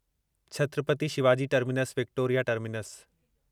Chhatrapati Shivaji Terminus Victoria terminus